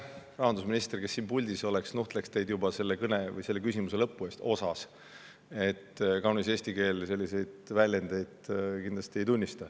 Kui rahandusminister oleks siin puldis, siis ta nuhtleks teid juba selle küsimuse lõpu eest – sõna "osas" –, sest kaunis eesti keel selliseid väljendeid kindlasti ei tunnista.